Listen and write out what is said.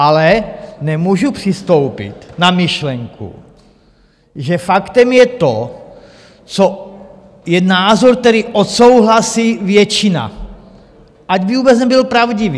Ale nemůžu přistoupit na myšlenku, že faktem je to, co je názor, který odsouhlasí většina, ať by vůbec nebyl pravdivý.